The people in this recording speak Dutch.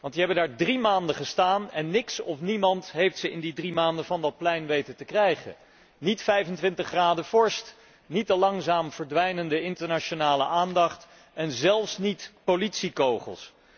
Want die hebben daar drie maanden gestaan en niets of niemand heeft hen in die drie maanden van dat plein weten te krijgen. Niet 25 graden vorst, niet de langzaam verdwijnende internationale aandacht en zelfs niet politiekogels.